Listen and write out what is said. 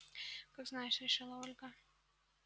как знаешь решила ольга